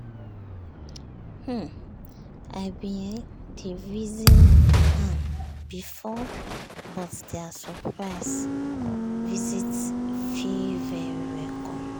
um i bin um dey reason am before but their surprise um visit feel very welcome.